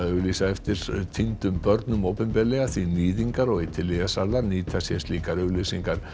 lýsa eftir týndum börnum opinberlega því níðingar og eiturlyfjasalar nýta sér slíkar auglýsingar